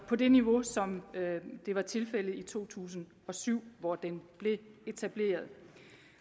på det niveau som det var tilfældet i to tusind og syv hvor den blev etableret